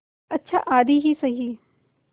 अच्छा आधी ही सही